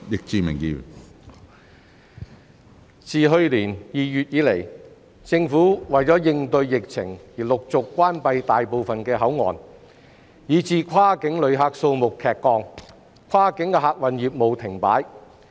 自去年2月以來，政府為應對疫情而陸續關閉大部分口岸，以致跨境旅客數目劇降，跨境客運業務停擺。